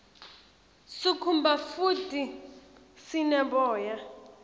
sikhumba futdi sine boya